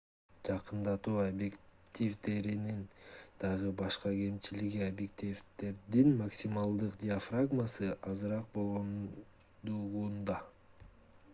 жакындатуу объективдеринин дагы башка кемчилиги объективдердин максималдык диафрагмасы жаркыроо азыраак болгондугунда